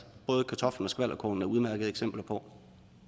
både kartoflen og skvalderkålen er udmærkede eksempler på